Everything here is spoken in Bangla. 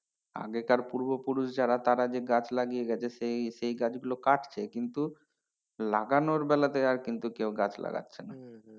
আগেকার পূর্বপুরুষ যারা তারা যে গাছ লাগিয়ে গেছে সে সে গাছগুলো কাটছে কিন্তু লাগানোর বেলাতে আর কিন্তু কেউ গাছ লাগাচ্ছে না।